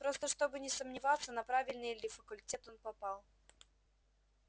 просто чтобы не сомневаться на правильный ли факультет он попал